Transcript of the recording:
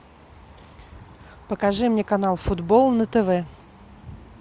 покажи мне канал футбол на тв